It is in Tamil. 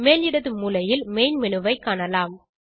மேல் இடது மூலையில் மெயின் மேனு ஐ காணலாம்